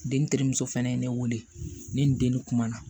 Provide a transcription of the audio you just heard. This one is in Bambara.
Den terimuso fɛnɛ ye ne wele ne ni n den kuma na